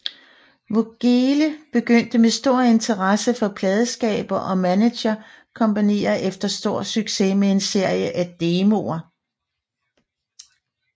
Voegele begyndte med stor interesse fra pladeselskaber og manager kompanier efter stor succes med en serie af demoer